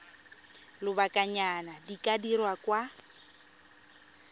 lobakanyana di ka dirwa kwa